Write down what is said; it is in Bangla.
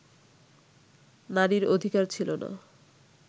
নারীর অধিকার ছিল না